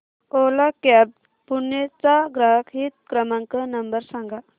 ओला cabs Pune चा ग्राहक हित क्रमांक नंबर सांगा